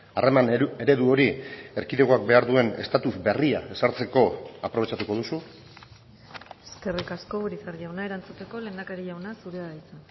harreman eredu hori erkidegoak behar duen estatus berria ezartzeko aprobetxatuko duzu eskerrik asko urizar jauna erantzuteko lehendakari jauna zurea da hitza